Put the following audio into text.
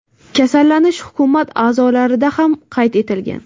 Kasallanish hukumat a’zolarida ham qayd etilgan.